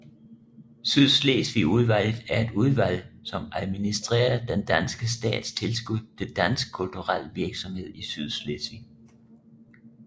Sydslesvigudvalget er et udvalg som administerer den danske stats tilskud til dansk kulturel virksomhed i Sydslesvig